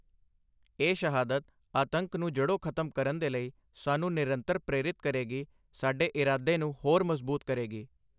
ਇਹ ਸ਼ਹਾਦਤ, ਆਤੰਕ ਨੂੰ ਜੜ੍ਹੋਂ ਖ਼ਤਮ ਕਰਨ ਦੇ ਲਈ ਸਾਨੂੰ ਨਿਰੰਤਰ ਪ੍ਰੇਰਿਤ ਕਰੇਗੀ, ਸਾਡੇ ਇਰਾਦੇ ਨੂੰ ਹੋਰ ਮਜ਼ਬੂਤ ਕਰੇਗੀ।